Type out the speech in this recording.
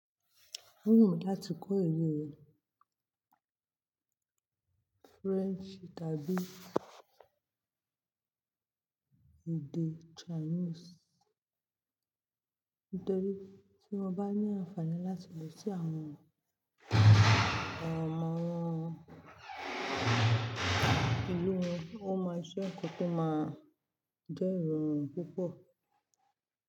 O wumi lá ti kọ́ re nu ilu yi French tàbí èdè Chinese nítorí tí wọ́n bá ní àǹfààní láti lọ sí àwọn ọmọ wọn ilu wọn, ó máa je nkan to máa jẹ́ ìrọ̀rùn púpọ̀